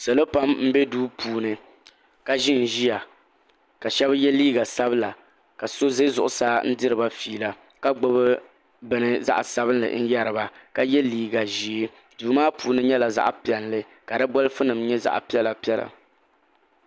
salo pam m-be duu puuni ka ʒi n-ʒiya ka shɛba ye liiga sabila ka so ʒe zuɣusaa n-diri ba fiila ka gbubi bini zaɣ' sabinli n-yɛri ba ka ye liiga ʒee duu maa puuni nyɛla zaɣ' piɛlli ka di bɔleefu nima nyɛ zaɣ' piɛla piɛla.